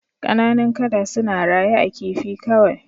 Kananun kada suna raye a kifi kawai